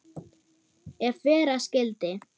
Ef vera skyldi.